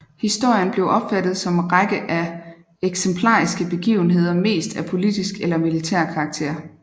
Historien blev opfattet som række af eksemplariske begivenheder mest af politisk eller militær karaktér